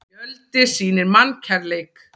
Fjöldi sýnir mannkærleik